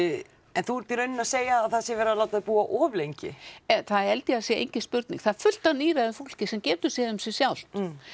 en þú ert í rauninni að segja að það sé verið að láta þau búa of lengi það held ég að sé engin spurning það er fullt af fólki sem getur séð um sig sjálft